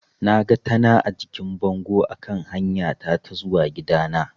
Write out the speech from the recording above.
Naga tana a jikin bango a kan hanyata ta zuwa gidana.